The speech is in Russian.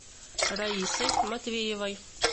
раисой матвеевой